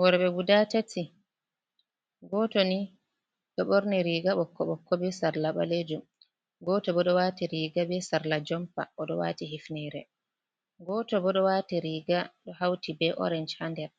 Worɓe guda tati, goto ni do ɓorni riga ɓokko- ɓokko be sarla ɓalejum, goto bo ɗo waati riga be sarla jompa oɗo wati hifnere, goto bo ɗo waati riga ɗo hauti be orange haa nder,